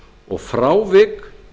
og frávik